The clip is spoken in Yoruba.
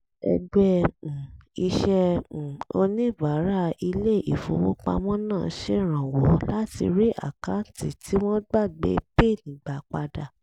ẹgbẹ́ um iṣẹ́ um oníbàárà ilé ìfowópamọ́ náà ń ṣèrànwọ́ láti rí àkáǹtì tí wọ́n gbàgbé pin gbà padà